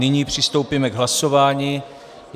Nyní přistoupíme k hlasování.